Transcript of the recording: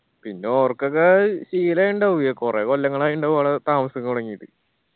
പിന്നാ ഓർക്കൊക്കെ ശീലം ഇണ്ടാവൂല്ലേ കൊറേ കൊല്ലങ്ങളായിണ്ടാവും അവടെ താമസൊക്കെ തൊടങ്ങിയിട്ട്.